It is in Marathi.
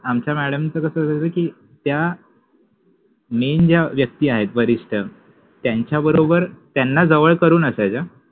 आमच्या मॅडम च कस होत कि त्या मेन ज्या व्यक्ति आहेत वरिष्ठ त्यांच्याबरोबर त्याना जवळ करुन असायच्या